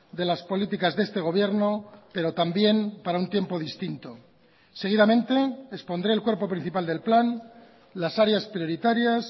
de las políticas de este gobierno pero también para un tiempo distinto seguidamente expondré el cuerpo principal del plan las áreas prioritarias